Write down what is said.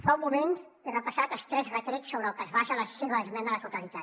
fa un moment he repassat els tres retrets sobre els que es basa la seva esmena a la totalitat